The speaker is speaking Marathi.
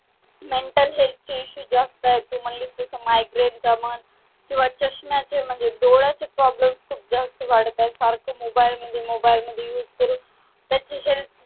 mental health issue जास्त येतो तू जस म्हणलीस तस migraine चा म्हण किंवा चष्म्याचे म्हणजे डोळ्याचे problem खूप जास्त वाढत आहेत सारखं mobile मध्ये mobile मध्ये use करून त्याची health